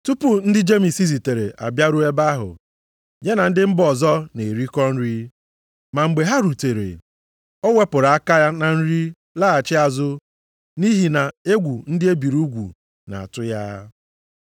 Tupu ndị Jemis zitere abịaruo ebe ahụ, ya na ndị mba ọzọ na-erikọ nri, ma mgbe ha rutere, ọ wepụrụ aka na nri laghachi azụ nʼihi na egwu ndị e biri ugwu na-atụ ya.